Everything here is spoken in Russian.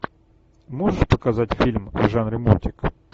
можешь показать фильм в жанре мультик